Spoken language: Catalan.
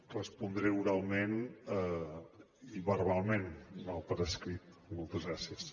respondré oralment i verbalment no per escrit moltes gràcies